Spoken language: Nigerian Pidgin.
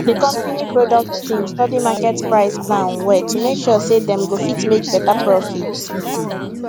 di company product team study market price plan well to make sure say dem go fit make better profit